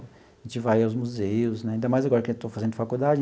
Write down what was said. A gente vai aos museus né, ainda mais agora que estou fazendo faculdade.